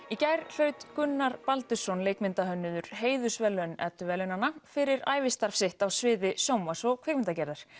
í gær hlaut Gunnar Baldursson leikmyndahönnuður heiðursverðlaun edduverðlaunanna fyrir ævistarf sitt á sviði sjónvarps og kvikmyndagerðar